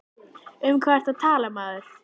Um hvað ertu að tala maður?